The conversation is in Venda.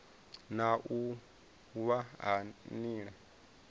na u wa ha nila